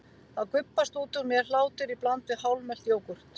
Þá gubbast út úr mér hlátur í bland við hálfmelt jógúrt.